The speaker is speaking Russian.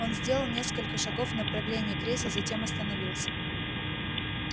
он сделал несколько шагов в направлении кресел затем остановился